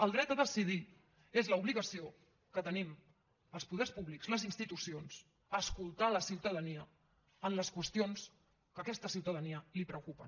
el dret a decidir és l’obligació que tenim els poders públics les institucions escoltar la ciutadania en les qüestions que a aquesta ciutadania li preocupen